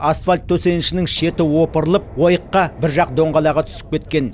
асфальт төсенішінің шеті опырылып ойыққа бір жақ доңғалағы түсіп кеткен